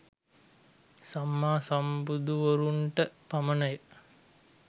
සම්මා සම්බුදුවරුන්ට පමණ ය.